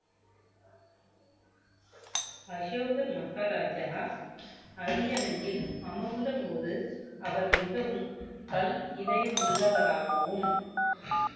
அசோகர் மகாராஜா அரியணையில் அமர்ந்த போது அவர் மிகவும் கல் இதயம் உள்ளவராகவும்